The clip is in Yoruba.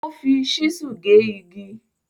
O fi ṣísù gé igi.